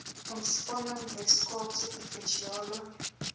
ontspanning weskaapse provinsiale